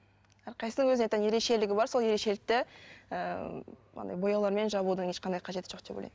әрқайсысының өзіне тән ерекшелігі бар сол ерекшелікті ыыы андай бояулармен жабудың ешқандай қажеті жоқ деп ойлаймын